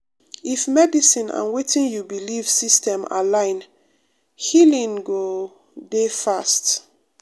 if medicine and wetin you belief system align healing go dey fast.